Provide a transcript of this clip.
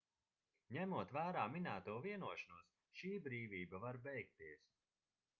ņemot vērā minēto vienošanos šī brīvība var beigties